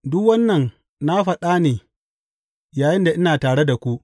Duk wannan na faɗa ne yayinda ina tare da ku.